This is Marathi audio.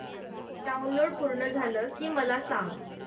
डाऊनलोड पूर्ण झालं की मला सांग